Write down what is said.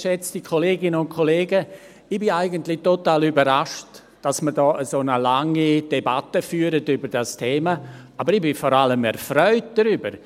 Ich bin eigentlich total überrascht, dass wir hier eine so lange Debatte führen über dieses Thema, aber ich bin vor allem erfreut darüber.